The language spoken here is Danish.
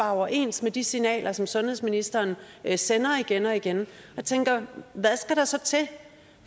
overens med de signaler som sundhedsministeren sender igen og igen og jeg tænker hvad skal der så til